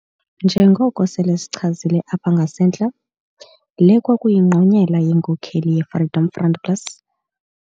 Njengoko sele sichazile apha ngasentla, le kwakuyingqonyela yenkokheli yeFreedom Front Plus.